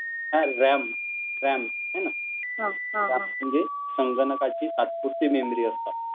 हं RAM RAM हाय न, रेम म्हणजे संगणकाची तात्पुरती मेमरी असतात.